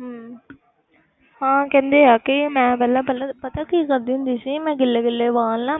ਹਮ ਹਾਂ ਕਹਿੰਦੇ ਆ ਕਿ ਮੈਂ ਪਹਿਲਾਂ ਪਹਿਲਾਂ ਪਤਾ ਕੀ ਕਰਦੀ ਹੁੰਦੀ ਸੀ ਮੈਂ ਗਿੱਲੇ ਗਿੱਲੇ ਵਾਲ ਨਾ